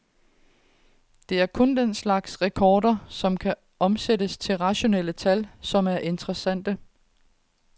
Det er kun den slags rekorder, som kan omsættes til rationelle tal, som er interessante.